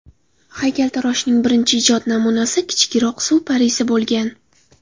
Haykaltaroshning birinchi ijod namunasi kichikroq suv parisi bo‘lgan.